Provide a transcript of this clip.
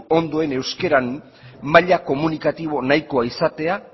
ondoen euskararen maila komunikatibo nahikoa izatea